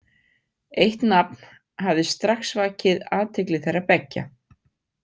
Eitt nafn hafði strax vakið athygli þeirra beggja.